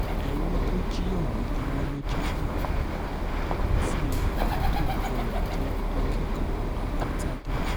ẹrú tó jí ọ̀hún ni wọ́n lọ jẹ́ ti enìkan tórúkọ rẹ̀ ń jẹ́ akikon akuntade